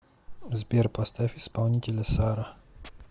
сбер поставь исполнителя сара